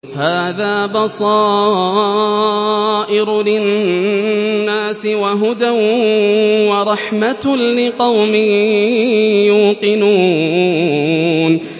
هَٰذَا بَصَائِرُ لِلنَّاسِ وَهُدًى وَرَحْمَةٌ لِّقَوْمٍ يُوقِنُونَ